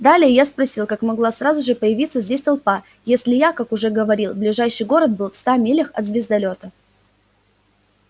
далее я спросил как могла сразу же появиться здесь толпа если я как уже говорил ближайший город был в ста милях от звездолёта